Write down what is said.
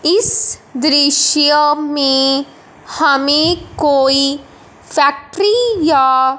इस दृश्य में हमें कोई फैक्ट्री या--